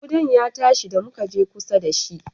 Ƙudan ya tashi da muka je kusa da shi